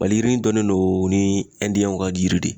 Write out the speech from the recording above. Maliyirinin dɔnnen don ni ka yiri de ye.